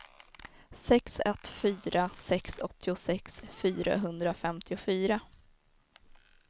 sex ett fyra sex åttiosex fyrahundrafemtiofyra